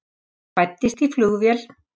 Fæddist í flugvél